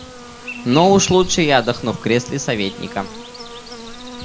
но уж лучше я отдохну в кресле советника